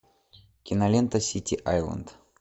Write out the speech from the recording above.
кинолента сити айленд